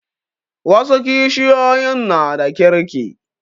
Wasu kishiyoyin na da kirki